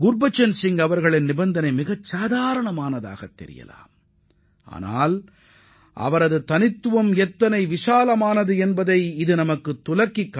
குர்பச்சன் சிங் தெரிவித்த கருத்து மிகவும் சாதாரணமானதாக தோன்றலாம் ஆனால் அவரது குணநலன் எவ்வளவு உயர்ந்தவை என்பதை இது எடுத்துரைக்கிறது